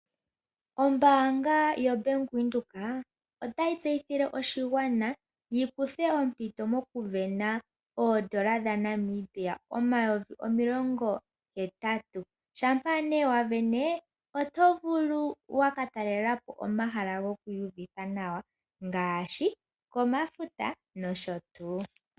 Ombaanga yaVenduka otayi tseyithile oshigwana shi kuthe ompito mokusindana oondola dhaNamibia omayovi omilongo hetatu. Shampa ne wa sindana oto vulu okutalela po omahala gokwiiyuvitha nawa ngaashi komafuta nosho tuu.